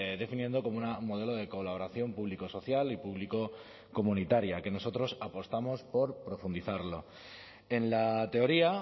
definiendo como un modelo de colaboración público social y público comunitaria que nosotros apostamos por profundizarlo en la teoría